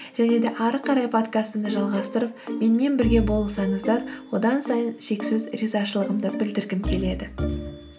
және де ары қарай подкастымды жалғастырып менімен бірге болсаңыздар одан сайын шексіз ризашылығымды білдіргім келеді